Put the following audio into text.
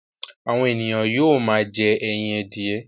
Àwọn ènìyàn yóò máa jẹ́ ẹyin adìye.